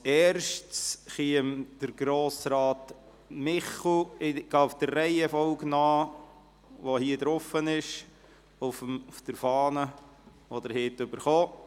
Ich gehe nach der Reihenfolge der Anträge, die Sie erhalten haben, vor.